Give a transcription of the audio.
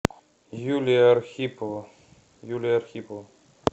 юлия архипова юлия архипова